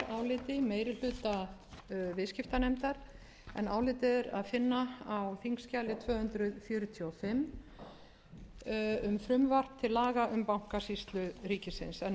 álitið er að finna á þingskjali tvö hundruð fjörutíu og fimm um frumvarp til laga um bankasýslu ríkisins með þessu